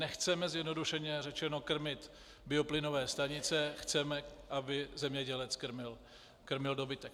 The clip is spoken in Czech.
Nechceme, zjednodušeně řečeno, krmit bioplynové stanice, chceme, aby zemědělec krmil dobytek.